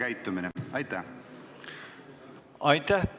Aitäh!